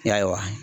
Yarɔ